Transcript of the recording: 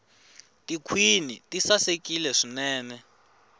tikhwini ti sasekile swinene